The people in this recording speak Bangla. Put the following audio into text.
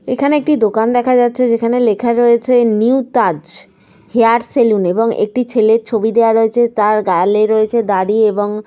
সামনে কিছু বসার জায়গা রয়েছে। একজন ভদ্রলোক ওয়াইট কালার -এর ড্রেস পরে জিন্স পরে দাঁড়িয়ে রয়েছে। এই সাইড -এ একটি বেসিন টাইপ -এর রয়েছে।